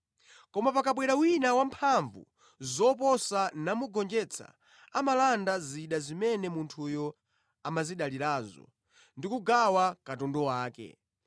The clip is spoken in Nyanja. Koma pakabwera wina wamphamvu zoposa namugonjetsa, amalanda zida zimene munthuyo amazidalirazo ndi kugawa katundu wake.